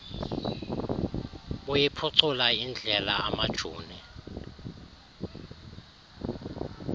buyiphucula indlela amajoni